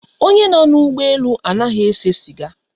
Onye nọ na ụgbọ elu anaghị ese siga